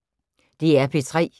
DR P3